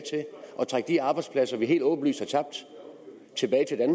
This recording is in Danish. trække de arbejdspladser vi helt åbenlyst